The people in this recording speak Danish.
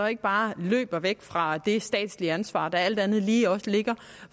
ikke bare løber væk fra det statslige ansvar der alt andet lige også er